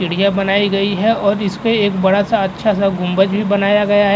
सीढ़ियां बनाई गई हैं और इसपे एक बड़ा सा अच्छा सा गुंबद भी बनाया गया है।